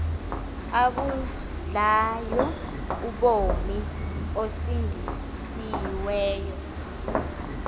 abudlayo ubomi osindisiweyo